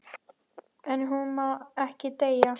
En hún má ekki deyja.